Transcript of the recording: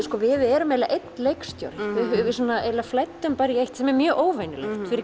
sko við erum eiginlega einn leikstjóri við eiginlega bara í eitt sem er mjög óvenjulegt fyrir